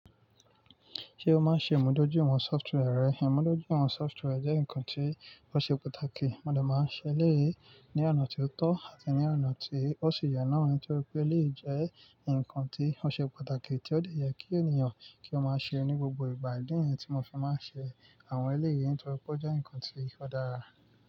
Ṣé o máa ń ṣe ìmúdójúìwọ̀n software rẹ? Ìmúdójúìwọ̀n software jẹ́ nǹkan tí ó ṣe pàtàkì. Mo dẹ̀ máa ń ṣe eléyìí ní ọ̀nà tí ó tọ́ àti ní ọ̀nà tí ó sì yẹ náà nítorí pé eléyìí jẹ́ nǹkan tí ó ṣe pàtàkì tí ó dẹ̀ yẹ kí ènìyàn kí ó máa ṣe ní gbogbo ìgbà. Ìdí tí mo fi máa ń ṣe àwọn eléyìí nítorí pé ó jẹ́ nǹkan tí ó dára.